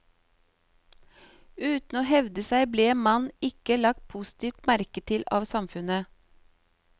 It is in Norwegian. Uten å hevde seg ble en mann ikke lagt positivt merke til av samfunnet.